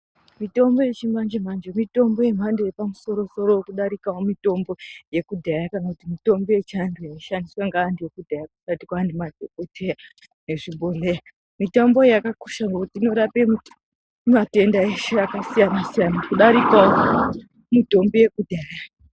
Mitombo yechimanje manje mitombo yemhando yepamusoro soro kudarikawo mitombo yekudhaya kana kuti mitombo yeantu ekudhaya kusati kwane madhokoteya nezvibhedhleya. Mitombo iyi yakakosha ngekuti inorape matenda eshe akasiyana siyana kudarikawo mitombo yekudhaya.